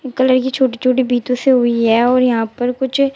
colour से छोटी छोटी बीटों से हुई है और यहां पर कुछ--